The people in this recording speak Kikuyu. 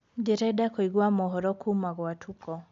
ndĩrenda kũĩgwa mohoro kuma gwa tuko